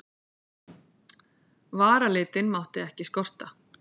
Varalitinn mátti ekki skorta.